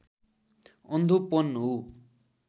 अन्धोपन हो